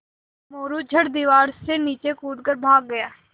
मोरू झट दीवार से नीचे कूद कर भाग गया